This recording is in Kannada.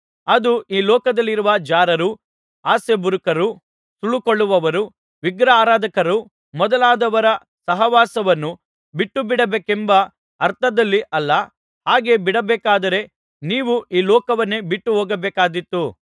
ಅದು ಈ ಲೋಕದಲ್ಲಿರುವ ಜಾರರು ಆಸೆಬುರುಕರು ಸುಲುಕೊಳ್ಳುವವರು ವಿಗ್ರಹಾರಾಧಕರು ಮೊದಲಾದವರ ಸಹವಾಸವನ್ನು ಬಿಟ್ಟುಬಿಡಬೇಕೆಂಬ ಅರ್ಥದಲ್ಲಿ ಅಲ್ಲ ಹಾಗೆ ಬಿಡಬೇಕಾದರೆ ನೀವು ಈ ಲೋಕವನ್ನೇ ಬಿಟ್ಟುಹೋಗಬೇಕಾದೀತು